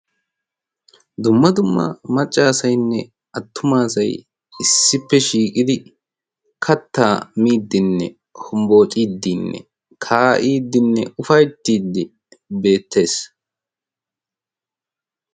dumma dumma maccaasainne attumaasai issippe shiiqidi katta miiddinne hombboociiddiinne kaa7iiddinne ufaittiiddi beettees.